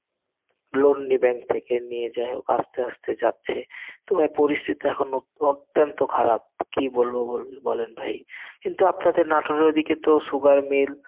loan নি bank থেকে নিয়ে যাই হোক আস্তে আস্তে যাচ্ছে. তোমার পরিস্থিতি এখন অত্যন্ত খারাপ. কি বলবো বলুন. বলেন ভাই কিন্তু আপনাদের নাটোরের ঐদিকে তো sugar mill